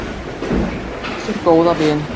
Þar áttu þau sinn góða vin.